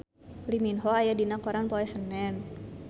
Lee Min Ho aya dina koran poe Senen